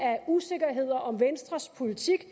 af usikkerheder om venstres politik